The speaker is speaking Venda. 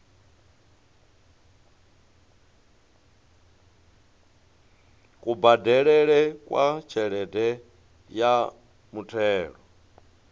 kubadelele kwa tshelede ya muthelo